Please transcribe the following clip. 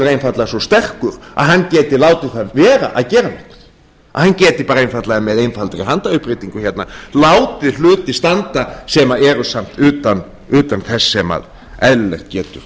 einfaldlega svo sterkur að hann geti látið það að vera að gera þetta að hann geti einfaldlega með einfaldri handauppréttingu látið hluti standa sem eru samt átta þess sem eðlilegt getur